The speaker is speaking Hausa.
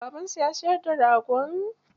Babansu ya siyar da ragon?